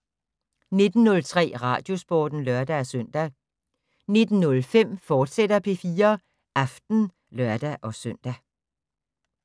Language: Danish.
19:03: Radiosporten (lør-søn) 19:05: P4 Aften, fortsat (lør-søn)